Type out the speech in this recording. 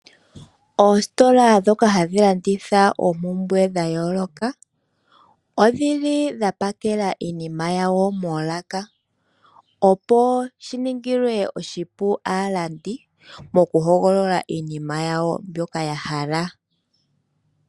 Oositola dhoka adhi landitha oompumbwe dha yooloka, odhili dha pakela iinima yawo moolaka opo shiningilwe oshipu aalandi mokuhogolola iinima yawo mbyoka ya hala.